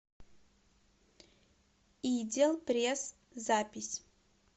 идел пресс запись